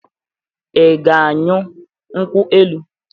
Ị ga añyu nkwụ- elụ?